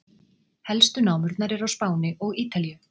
Helstu námurnar eru á Spáni og Ítalíu.